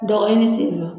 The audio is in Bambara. Dɔgɔ ɲini senfɛ